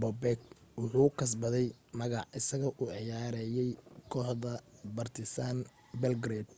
bobek wuxuu kasbaday magac isagoo u ciyaarayay kooxda partizan belgrade